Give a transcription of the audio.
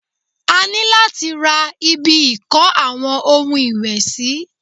A ní láti ra ibi ìko àwọn ohun ìwẹ̀ sì.